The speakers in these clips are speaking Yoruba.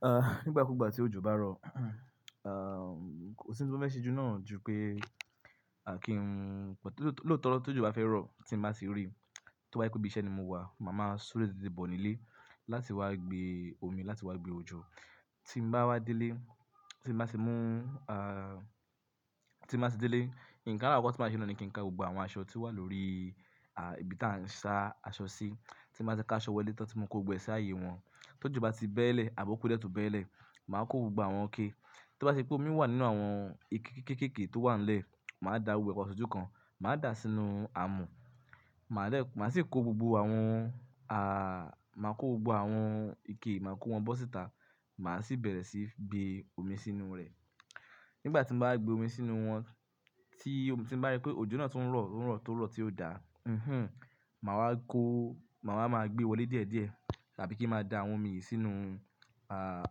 Ah, nígbà kúgbà tí òjò bá rọ̀, ah, kò sí ohun tí mo fẹ́ ṣí ju náà ju pé, àkí ń, lóòótọ́ lóòótọ́ tí òjò bá fẹ́ rọ̀ tí mo bá tì rí, tí ó bá ye pé bí iṣẹ́ ni mo wà, màá máa súré tètè bọ̀ nílé láti wá gbé omi, láti wá gbé òjò. Tí mo bá wá délé, tí mo bá tì mú, ah, tí mo bá tì délé, kí ń ká wá, tí màá ṣe nù ní kí n ká gbogbo àwọn aṣọ tí wà lórí, à, ibi tí a ń sá aṣọ sí. Tí mo bá ti ká aṣọ wọlé tán tí mo kò gbe sí ààyè wọn. Tí òjò bá ti bẹ́lẹ̀ àbí ó kúdié ètò bẹ́lẹ̀, màá kó gbogbo àwọn ike. Tí ó bá ṣe pé omi wà nínú àwọn ike kéékèèké tó wà nílẹ̀, màá da gbogbo papọ̀ sójú kan, màá dà á sínú àmù. Màá dè, màá sì kó gbogbo àwọn a, màá kó gbogbo àwọn ike, màá kó wọn bọ́ síta. Màá sì bẹ̀rẹ̀ sí í gbé omi sínú rẹ̀. Nígbà tí mo bá gbé omi sínú wọn, tí omi, tí mo bá rí pé òjò náà tó ń rọ̀, ó ń rọ̀ tó lọ̀ọ́ tí ó dà, mm-hmm, màá wá kó, màá máa gbé wọlé díẹ̀díẹ̀. Tàbí kí ń máa da àwọn omi yìí sínú, ah,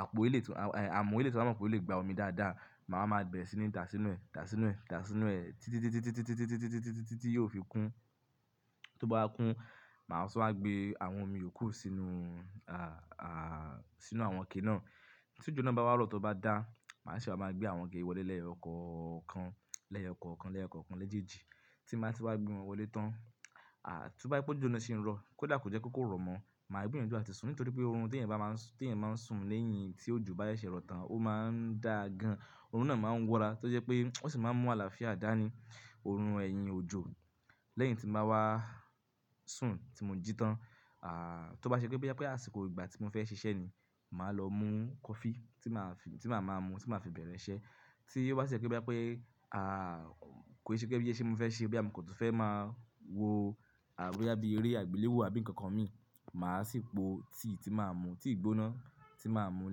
àpò ilé tò, a, àmù eléyì tò bá mọ̀ pé ó lè gba omi dáadáa. Màá máa bẹ̀rẹ̀ sí ní dà á sínú ẹ̀, dà á sínú ẹ̀, dà á sínú ẹ̀ títí, títí, títí, títí, títí, títí, títí tí yóò fi kún. Tí ó bá kún, màá sì wá gbé àwọn omi ò kó sínú, ah, ah, sínú àwọn ike náà. Tí òjò náà bá wá rọ̀, tí ó bá dà, màá sì wá máa gbé àwọn ike wọlé lẹ́yo kọ̀ọ̀kan, lẹ́yo ọ̀kọ̀ọ̀kan, lẹ́yo ọ̀kọ̀ọ̀kan lẹ́jèèjì. Tí bàá ti wá gbé wọn wọlé tán. Ah, tí ó bá ṣe pé òjò náà sì ń rọ̀, kó dà kò jẹ́ pé kò rọ̀ mọ́, màá gbé yanjú àti sùn nítorí pé òrun tí èèyàn bá máa, tí èèyàn máa ń sùn lẹ́yìn tí òjò bá ṣe rọ tán, ó máa ń dà gan. Orun náà máa ń wọ́ra tó jẹ́ pé ó sì máa ń mú àlàáfíà dá ní, orun ẹ̀yìn òjò. Lẹ́yìn tí màá wá sùn tí mo jí tán. Ah, tó bá ṣe pé bí àpẹ́ àsìkò ìgbà tí mo fẹ́ ṣiṣẹ́ ni, màá lọ mú coffee tí màá fi, tí màá máa mu, tí màá fi bẹ̀rẹ̀ iṣẹ́. Tí ó bá ṣe jẹ̀ pé bí àpẹ́, ah, kò ṣe pé bí iṣẹ́ mo fẹ́ ṣe bóyá mọ́ kò tún fẹ́ máa wo àá bóyá bi eré àgbéléwò àbí nǹkan kan mi, màá sì po tíì tí màá mu, tíì gbóná tí màá mu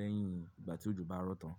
lẹ́yìn ìgbà tí òjò bá rọ tán.